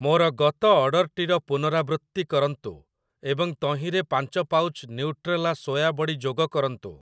ମୋର ଗତ ଅର୍ଡ଼ର୍‌‌ଟିର ପୁନରାବୃତ୍ତି କରନ୍ତୁ ଏବଂ ତହିଁରେ ପାଞ୍ଚ ପାଉଚ୍ ନ୍ୟୁଟ୍ରେଲା ସୋୟା ବଡ଼ି ଯୋଗ କରନ୍ତୁ।